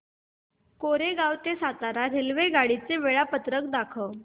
कोरेगाव ते सातारा रेल्वेगाडी चे वेळापत्रक दाखव